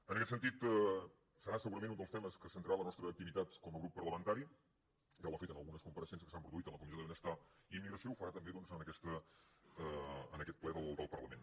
en aquest sentit serà segurament un dels temes que centrarà la nostra activitat com a grup parlamentari ja ho ha fet en algunes compareixences que s’han produït en la comissió de benestar i immigració ho farà també doncs en aquest ple del parlament